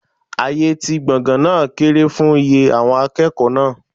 Ààyè ti gbọ̀ngàn náà kéré fún iye àwọn akẹ́kọ̀ọ́ náà.